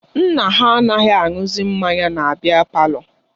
Nna ha anaghị aṅụzi mmanya na biya palọ ahụ